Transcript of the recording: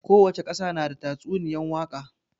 Kowace ƙasa na da tatsuniyan waka